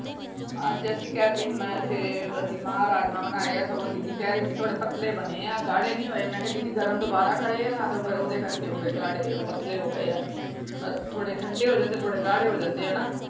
ਅੱਜ ਅਸੀਂ ਕਹਿ ਤੇ ਰਹੀ ਮੈਂ ਸਵੇਰੇ ਅਸੀਂ ਮਾਂ ਰਾਜਮਾ ਬਣਾਏ ਆ ਸਗੋਂ ਦੀਦੀ ਕਹਿ ਰਹੀ ਸੀ ਥੋੜੇ ਪਤਲੇ ਬਣੇ ਆ ਗਾੜ੍ਹੇ ਨੀ ਹੋਏ। ਮੈਂ ਕਿਹਾ ਦੀਦੀ ਗਰਮ ਦੋਬਾਰਾ ਕਰੇ ਆ ਨਾ ਤੇ ਫੇਰ ਓਹਦੇ ਕਰਕੇ ਹੋ ਗਏ ਗਾੜ੍ਹੇ ਉਹ ਪਤਲੇ ਹੋ ਗਏ ਆ। ਥੋੜੇ ਠੰਡੇ ਹੋ ਜਾਂਦੇ ਥੋੜੇ ਗਾੜ੍ਹੇ ਹੋ ਜਾਂਦੇ ਆ ਨਾ।